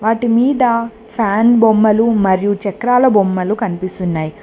వాటి మీద ఫ్యాన్ బొమ్మలు మరియు చక్రాల బొమ్మలు కనిపిస్తున్నాయి.